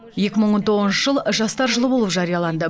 екі мың он тоғызыншы жыл жастар жылы болып жарияланды